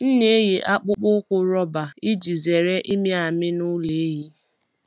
M na-eyi akpụkpọ ụkwụ rọba iji zere ịmị amị n’ụlọ ehi.